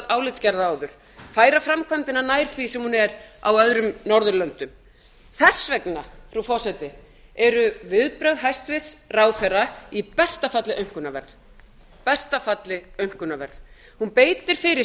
álitsgerða áður færa framkvæmdina nær því sem hún er á öðrum norðurlöndum þess vegna frú forseti eru viðbrögð hæstvirts ráðherra í besta falli að minnsta kosti unarverð hún beitir fyrir